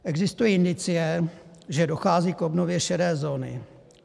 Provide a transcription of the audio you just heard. Existují indicie, že dochází k obnově šedé zóny.